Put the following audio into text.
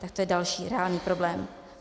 Tak to je další reálný problém.